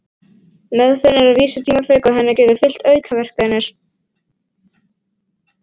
Meðferðin er að vísu tímafrek og henni geta fylgt aukaverkanir.